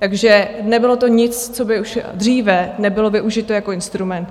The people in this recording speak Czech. Takže nebylo to nic, co by už dříve nebylo využito jako instrument.